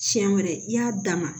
Siɲɛ wɛrɛ i y'a d'a ma